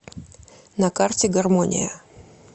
на карте гармония